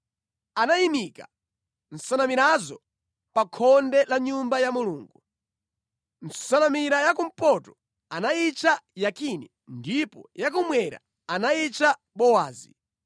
Anayimika nsanamirazo pa khonde la Nyumba ya Mulungu. Nsanamira ya kumpoto anayitcha Yakini ndipo ya kummwera anayitcha Bowazi.